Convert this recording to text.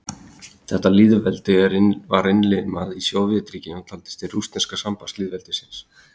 þetta lýðveldi var innlimað í sovétríkin og taldist til rússneska sambandslýðveldisins